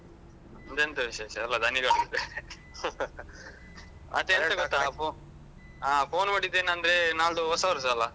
ನಮ್ದೆಂತ ವಿಶೇಷ ಎಲ್ಲ ಧಣಿಗಳದ್ದೆ. ಮತ್ತೆ ಎಂತ ಗೊತ್ತ ಅಪ್ಪು ಆ ಫೋನ್ ಮಾಡಿದ್ದೇನಂದ್ರೆ ನಾಳ್ದು ಹೊಸ ವರ್ಷ ಅಲ.